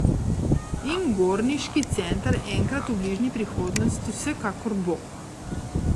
In Gorniški center enkrat v bližnji prihodnosti vsekakor bo!